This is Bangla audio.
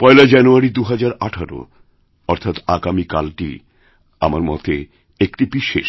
পয়লা জানুয়ারি ২০১৮ অর্থাৎ আগামীকালটি আমার মতে একটি বিশেষ